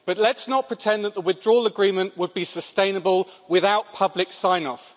But let's not pretend that the Withdrawal Agreement would be sustainable without public sign-off.